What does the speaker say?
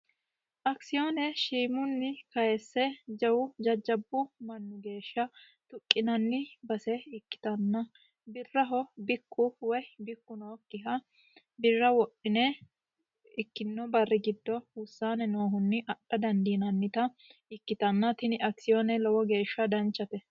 Akisiyoone shiimunni kayiise jajjabu manni geeshsha tuqqinanita ikkitanna birraho bikku woyi bikku nookkiha birra tuqqine adhinannita ikkitanna tini akisiyoone adintanni danchate.